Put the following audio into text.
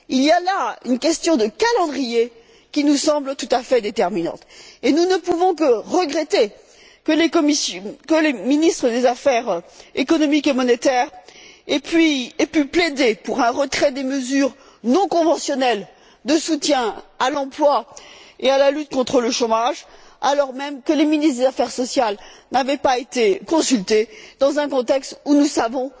Il y a là une question de calendrier qui nous semble tout à fait déterminante, et nous ne pouvons que regretter que les ministres des affaires économiques et monétaires aient pu plaider pour un retrait des mesures non conventionnelles de soutien à l'emploi et à la lutte contre le chômage, alors même que les ministres des affaires sociales n'avaient pas été consultés dans un contexte où nous savons